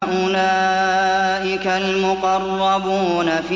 أُولَٰئِكَ الْمُقَرَّبُونَ